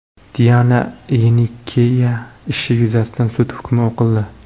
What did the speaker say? Diana Yenikeyeva ishi yuzasidan sud hukmi o‘qildi.